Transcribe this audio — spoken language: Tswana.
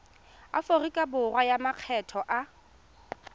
aforika borwa a makgetho a